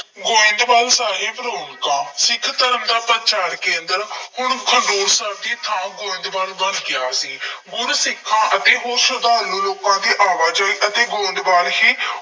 ਗੋਇੰਦਵਾਲ ਸਾਹਿਬ ਨੂੰ ਤਾਂ ਸਿੱਖ ਧਰਮ ਦਾ ਪ੍ਰਚਾਰ ਕੇਂਦਰ, ਹੁਣ ਖਡੂਰ ਸਾਹਿਬ ਦੀ ਥਾਂ ਗੋਇੰਦਵਾਲ ਸਾਹਿਬ ਬਣ ਗਿਆ ਸੀ। ਗੁਰ ਸਿੱਖਾਂ ਅਤੇ ਹੋਰ ਸਰਧਾਲੂ ਲੋਕਾਂ ਦੀ ਆਵਾਜਾਈ ਅਤੇ ਗੋਇੰਦਵਾਲ ਹੀ